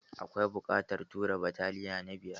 Akwai buƙatar tura bataliyan na biyar?